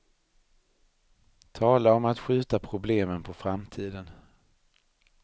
Tala om att skjuta problemen på framtiden.